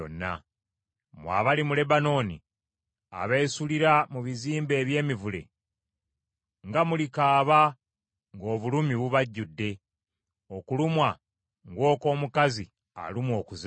Mmwe abali mu Lebanooni, abesulira mu bizimbe eby’emivule, nga mulikaaba, ng’obulumi bubajjidde! Okulumwa ng’okw’omukazi alumwa okuzaala.